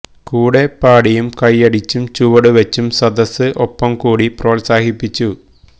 കൂടെ പാടിയും കയ്യടിച്ചും ചുവട് വെച്ചും സദസ്സ് ഒപ്പം കൂടി പ്രോത്സാഹിപ്പിച്ചു